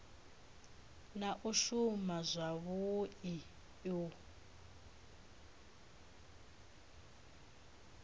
na u shuma zwavhui u